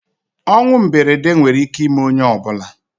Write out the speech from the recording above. ọnwụ mberede nwere ike ime onye ọ bụla